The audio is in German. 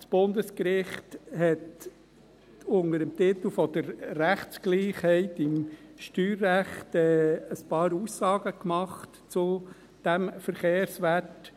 Das Bundesgericht hat unter dem Titel der Rechtsgleichheit im Steuerrecht ein paar Aussagen gemacht zu diesem Verkehrswert.